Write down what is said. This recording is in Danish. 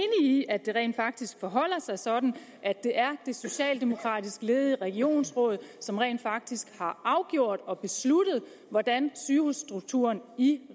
i at det rent faktisk forholder sig sådan at det er de socialdemokratisk ledede regionsråd som rent faktisk har afgjort og besluttet hvordan sygehusstrukturen i